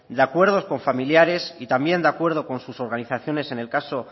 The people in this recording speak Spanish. de acuerdo con familiares y también de acuerdo con sus organizaciones en el caso